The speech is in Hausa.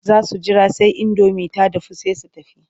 Za su jira sai indomin ta dahu sai su tafi.